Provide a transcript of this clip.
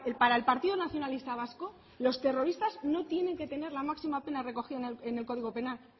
para el partido nacionalista vasco los terroristas no tienen que tener la máxima pena recogida en el código penal